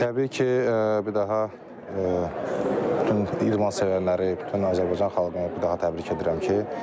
Təbii ki, bir daha bütün idman sevərləri, bütün Azərbaycan xalqını bir daha təbrik edirəm ki,